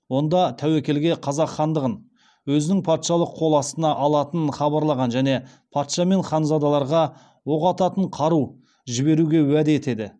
онда тәуекелге қазақ хандығын өзінің патшалық қол астына алатынын хабарлаған және патша мен ханзадаларға оқ ататын қару жіберуге уәде етеді